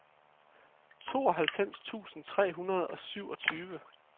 tooghalvfems tusind tre hundrede og syvogtyve